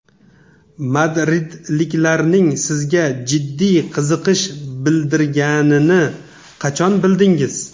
Madridliklarning sizga jiddiy qiziqish bildirganini qachon bildingiz?